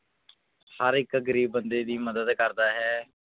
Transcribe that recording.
ਹਰ ਇੱਕ ਗ਼ਰੀਬ ਬੰਦੇ ਦੀ ਮਦਦ ਕਰਦਾ ਹੈ।